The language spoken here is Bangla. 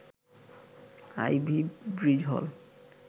আইভি ব্রিজ হল